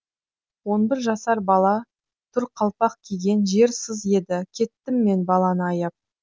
он бір жасар бала тұр қалпақ киген жер сыз еді кеттім мен баланы аяп